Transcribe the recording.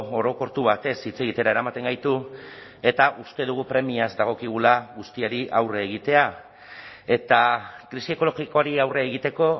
orokortu batez hitz egitera eramaten gaitu eta uste dugu premiaz dagokigula guztiari aurre egitea eta krisi ekologikoari aurre egiteko